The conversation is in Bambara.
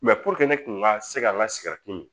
Mɛ puruke ne kun ka se ka n ka sigɛriti min